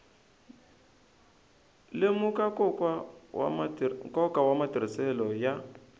lemuka nkoka wa matirhiselo ya